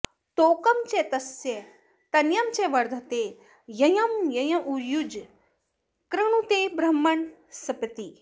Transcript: तो॒कं च॒ तस्य॒ तन॑यं च वर्धते॒ यंयं॒ युजं॑ कृणु॒ते ब्रह्म॑ण॒स्पतिः॑